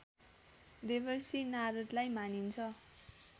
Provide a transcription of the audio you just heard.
देवर्षि नारदलाई मानिन्छ